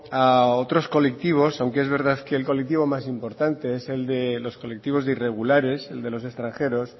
a otros colectivos aunque es verdad que el colectivo más importante es de los colectivos de irregulares el de los extranjeros